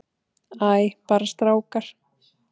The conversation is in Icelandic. Æ, bara strákar.